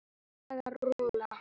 Saga Rún.